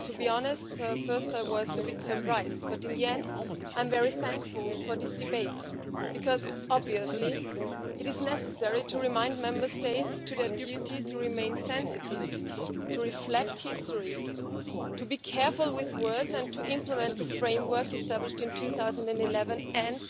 To be honest, at first I was a bit surprised, but in the end, I am very thankful for this debate because it is obviously necessary to remind Member States of their duty to remain sensitive, to reflect history, to be careful with words and to implement both the framework established in 2011 and